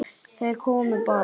Þeir komu bara.